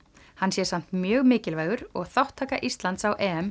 hann sé samt mjög mikilvægur og þátttaka Íslands á